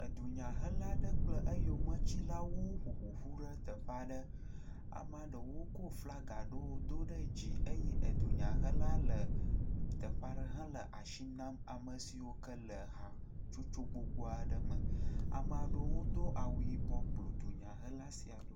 Edunyahela aɖe kple eyometsilawo ƒoƒu ɖe teƒe aɖe, amea ɖewo ko flaga ɖewo do ɖe dzi eye edunyahela le teƒe aɖe hele asi nam ame siwo ke le hatsotso gbogbo aɖe me. A mea ɖewo do awu yibɔ kplɔ edunyahela sia ɖo.